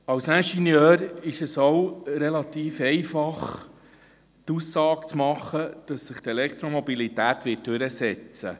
Als Ingenieur ist es relativ einfach, die Aussage zu machen, dass sich die Elektromobilität durchsetzen werde.